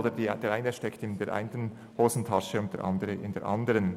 Der eine steckt in der einen Hosentasche und der andere in der anderen.